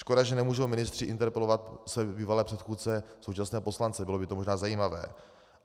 Škoda, že nemůžou ministři interpelovat své bývalé předchůdce, současné poslance, bylo by to možná zajímavé.